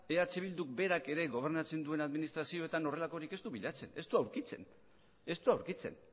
eh bilduk berak ere gobernatzen duen administrazioetan horrelakorik ez du bilatzen ez du aurkitzen ez du aurkitzen